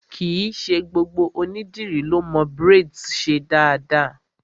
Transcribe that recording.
Kìí ṣe gbogbo ònídìrí lọ mo braids ṣe dáadáa.